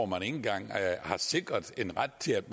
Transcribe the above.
man ikke engang har sikret en ret til at